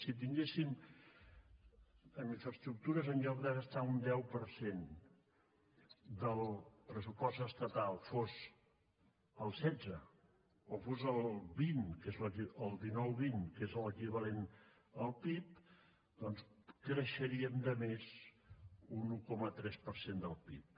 si en infraestructures en lloc de gastar un deu per cent del pressupost estatal fos el setze o fos el vint el dinouvint que és l’equivalent al pib doncs creixeríem de més un un coma tres per cent del pib